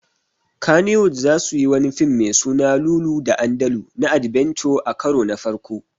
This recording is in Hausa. Kannywood zasuyi wani fim me suna Lulu da Andalu na adbenture a karo na farko